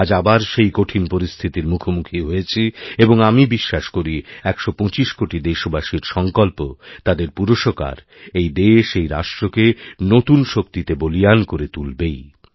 আজ আবার সেইকঠিন পরিস্থিতির মুখোমুখি হয়েছি এবং আমি বিশ্বাস করি ১২৫ কোটি দেশবাসীর সংকল্পতাঁদের পুরুষকার এই দেশ এই রাষ্ট্রকে নতুন শক্তিতে বলীয়ান করে তুলবেই